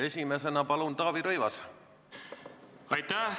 Esimesena palun, Taavi Rõivas!